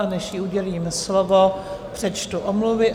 A než jí udělím slovo, přečtu omluvy.